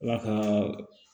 Ala ka